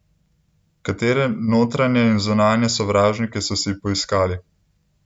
Katere notranje in zunanje sovražnike so si poiskali?